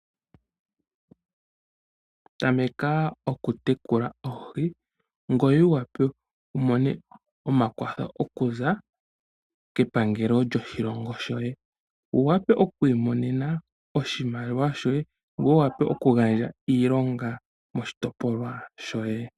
Tameka oku tekula oohi ngoye wu wape wumone omakwatho okuza kepangelo lyoshilongo shoye. Wu wape oku imonena oshimaliwa shoye ngoye wu wape oku gandja iilonga moshitopolwa shoye.